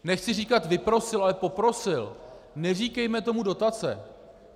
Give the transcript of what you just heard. Nechci říkat vyprosil, ale poprosil - neříkejme tomu dotace.